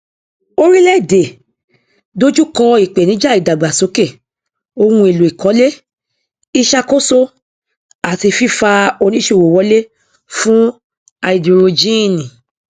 orílẹèdè dojú kọ ìpèníjà ìdàgbàsókè ohunèlò ìkọlé ìṣàkóso àti fífa oníṣòwò wọlé fún háídírójìn